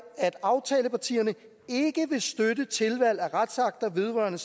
at aftalepartierne ikke vil støtte tilvalg af retsakter vedrørende